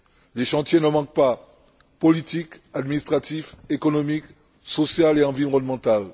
Les chantiers ne manquent pas politique, administratif, économique, social et environnemental.